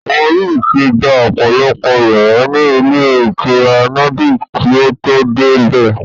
Wọ́n yóò ti gba ọ̀pọ̀lọpọ̀ yàrá ní ilé ìtura Nordic kí o tó dé bẹ̀